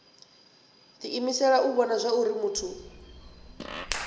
diimisela u vhona zwauri muthu